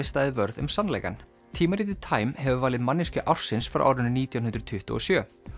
staðið vörð um sannleikann tímaritið time hefur valið manneskju ársins frá árinu nítján hundruð tuttugu og sjö